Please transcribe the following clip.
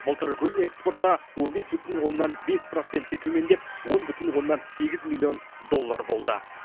былтыр гүл экспорты он бес бүтін оннан бес процентке төмендеп он бүтін оннан сегіз миллион доллар болды